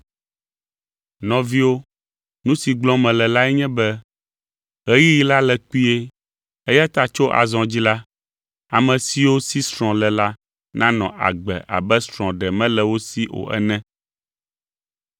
Nɔviwo, nu si gblɔm mele lae nye be: Ɣeyiɣi la le kpuie, eya ta tso azɔ dzi la, ame siwo si srɔ̃ le la nanɔ agbe abe srɔ̃ ɖe mele wo si o ene.